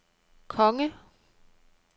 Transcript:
konge